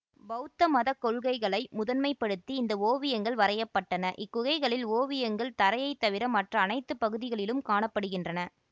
பௌத்த மத கொள்கைகளை முதன்மைப்படுத்தி இந்த ஓவியங்கள் வரையப்பட்டன இக்குகைகளில் ஓவியங்கள் தரையை தவிர மற்ற அனைத்து பகுதிகளிலும் காண படுகின்றன